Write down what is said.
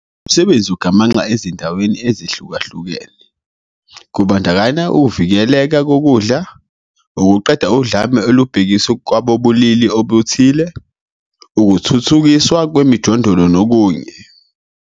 Lo msebenzi ugamanxa ezinhlakeni ezihlukahlukene, kubandakanya ukuvikeleka kokudla, ukuqeda udlame olubhekiswe kwabobulili obuthile, ukuthuthukiswa kwemijondolo nokunye.